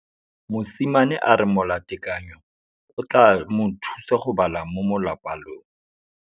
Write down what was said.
Mosimane a re molatekanyô o tla mo thusa go bala mo molapalong.